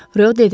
Rö dedi: